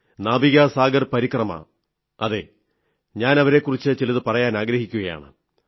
നാവികാ സാഗർ പരിക്രമ അതെ ഞാൻ അവരെക്കുറിച്ചു ചിലതു പറയാനാഗ്രഹിക്കുന്നു